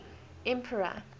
emperor